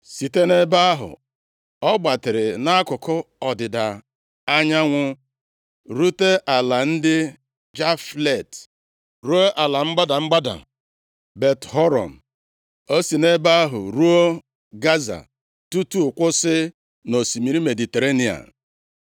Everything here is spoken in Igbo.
Site nʼebe ahụ, ọ gbatịrị nʼakụkụ ọdịda anyanwụ rute ala ndị Jaflet, ruo ala mgbada mgbada Bet-Horon. O si nʼebe ahụ ruo Gaza, tutu kwụsị nʼosimiri Mediterenịa.